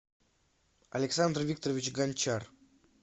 александр викторович гончар